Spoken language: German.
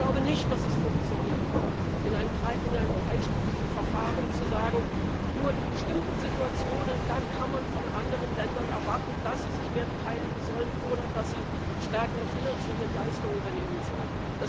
Ich glaube nicht, dass es funktionieren wird, in einem dreistufigen Verfahren zu sagen Nur in bestimmten Situationen kann man von anderen Ländern erwarten, dass sie sich mehr beteiligen sollen oder dass sie stärkere finanzielle Leistungen übernehmen sollen.